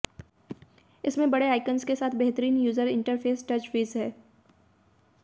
इसमें बडे आइकन्स के साथ बेहतरीन यूजर इंटरफेस टचविज है